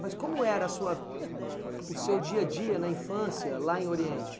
Mas como era sua o seu dia a dia na infância lá em Oriente?